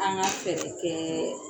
An ga fɛɛrɛ kɛ